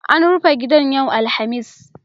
An rufe gidan yau Alhamis.